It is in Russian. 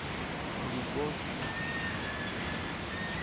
любовь в двадцать лет